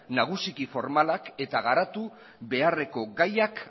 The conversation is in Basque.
nagusiki formalak eta garatu beharreko gaiak